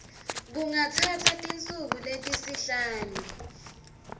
kungatsatsa tinsuku letisihlanu